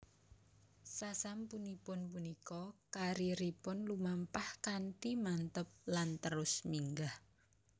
Sasampunipun punika karieripun lumampah kanthi mantep lan terus minggah